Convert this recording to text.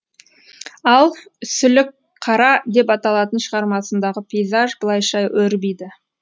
ал сүлікққара деп аталатын шығармасындағы пейзаж былайша өрбиді